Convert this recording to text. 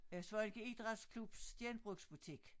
Øh Svaneke idrætklubs genrbugsbutik